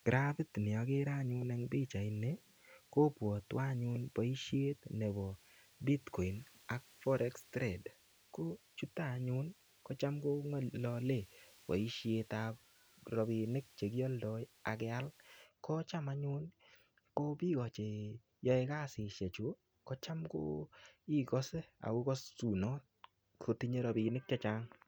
Kirapit ni agere anyun eng pichaini, kopwatwo anyun boisiet nebo Bitcoin ak Forex Trade. Ko chuto anyun kocham kou ngalale boisietab ropinik che kialdoi ak keal. Kocham anyun ko biik o cheyoe kasisiechu kocham ko igase ago gasusunot kotiche ropinik che chang.